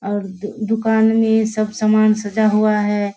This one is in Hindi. और दू दुकान में सब सामान सजा हुआ है।